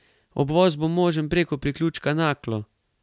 Obvoz bo možen preko priključka Naklo.